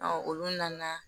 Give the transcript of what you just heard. olu nana